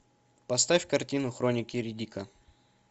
поставь картину хроники риддика